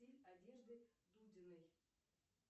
стиль одежды дудиной